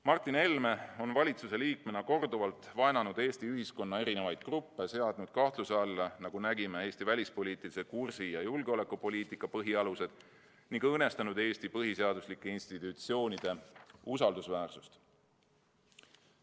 Martin Helme on valitsuse liikmena korduvalt vaenanud Eesti ühiskonna erinevaid gruppe, seadnud kahtluse alla, nagu nägime, Eesti välispoliitilise kursi ja julgeolekupoliitika põhialused ning õõnestanud Eesti põhiseaduslike institutsioonide usaldusväärsust.